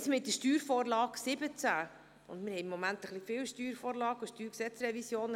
Zur Steuervorlage 2017 (SV17): Im Moment haben wir etwas viele Steuervorlagen, Steuergesetzrevisionen.